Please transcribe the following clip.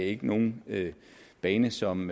ikke nogen bane som